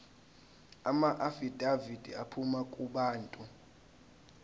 amaafidavithi aphuma kubantu